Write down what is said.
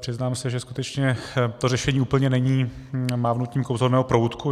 přiznám se, že skutečně to řešení úplně není mávnutím kouzelného proutku.